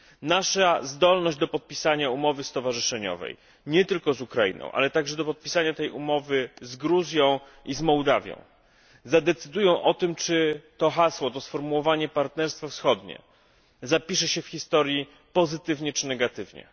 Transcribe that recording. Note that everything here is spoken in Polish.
Nasza zdolność do podpisania umowy stowarzyszeniowej nie tylko zUkrainą, ale także do podpisania tej umowy zGruzją izMołdawią, zadecydują o tym, czy to hasło, sformułowanie Partnerstwo Wschodnie, zapisze się w historii pozytywnie czy negatywnie.